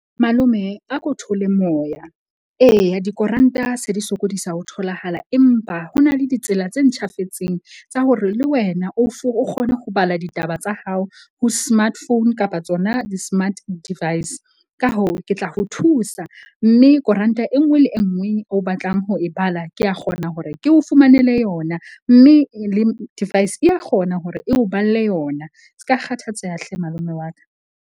Malome a ko theole moya. Eya, dikoranta se di sokodisa ho tholahala. Empa ho na le ditsela tse ntjhafetseng tsa hore le wena o o kgone ho bala ditaba tsa hao ho smart phone kapa tsona di-smart device. Ka hoo, ke tla ho thusa mme koranta e nngwe le e nngwe o batlang ho e bala ke a kgona hore ke o fumanele yona. Mme le device ya kgona hore e o balle yona. Ska kgathatseha hle malome wa ka.